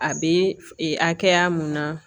A bɛ e hakɛya mun na